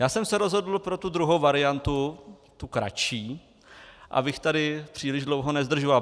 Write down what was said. Já jsem se rozhodl pro tu druhou variantu, tu kratší, abych tady příliš dlouho nezdržoval.